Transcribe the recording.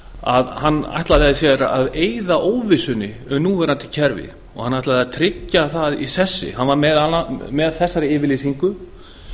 að hann ætlaði sér að eyða óvissunni um núverandi kerfi og hann ætlaði að tryggja það í sessi hann var með þessari yfirlýsingu